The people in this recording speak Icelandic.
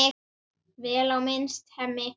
Vel á minnst: Hemmi.